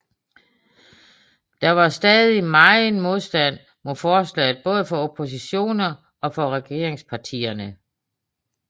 Der var stadig megen modstand mod forslaget både fra oppositionen og fra regeringspartierne